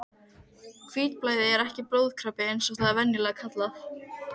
Hvítblæði er ekki blóðkrabbi eins og það er venjulega kallað.